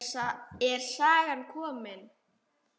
Er sagan komin?